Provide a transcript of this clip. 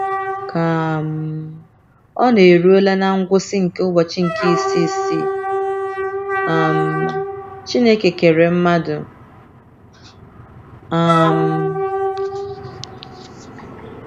Ka um ọ na - erule ná ngwụsị nke ụbọchị nke isii isii, um Chineke kere mmadụ um.